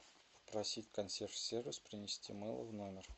попросить консьерж сервис принести мыло в номер